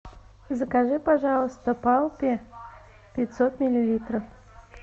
закажи пожалуйста палпи пятьсот миллилитров